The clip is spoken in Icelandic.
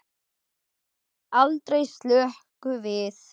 Hún slær aldrei slöku við.